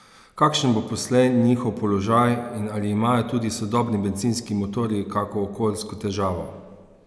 Kakšen bo poslej njihov položaj in ali imajo tudi sodobni bencinski motorji kako okoljsko težavo?